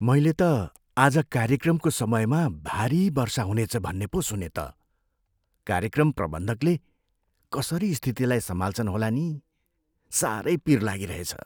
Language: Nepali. मैले त आज कार्यक्रमको समयमा भारी वर्षा हुनेछ भन्ने पो सुनेँ त। कार्यक्रम प्रबन्धकले कसरी स्थितिलाई सम्हाल्छन् होला नि? साह्रै पिर लागिरहेछ।